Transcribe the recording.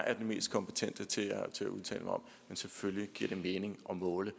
er den mest kompetente til at udtale mig om men selvfølgelig giver det mening at måle